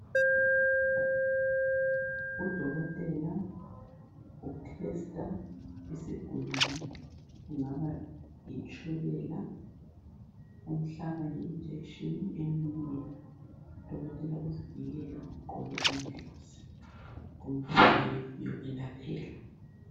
Udokotela utesta isigulane , kungaba litshukela. Umhlaba i- injection emunweni. Udokotela uzivikele. Ugqoke amagloves. Kundlu leyo yokwelaphela.